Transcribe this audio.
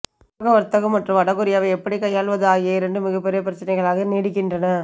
உலக வர்த்தகம் மற்றும் வடகொரியாவை எப்படி கையாள்வது ஆகிய இரண்டும் மிகப்பெரிய பிரச்சனைகளாக நீடிக்கின்றன